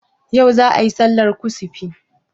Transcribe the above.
Yau za ayi sallar kusufi?